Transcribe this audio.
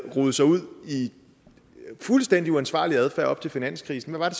rodet sig ud i fuldstændig uansvarlig adfærd op til finanskrisen hvad